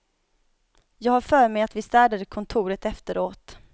Jag har för mig att vi städade kontoret efteråt.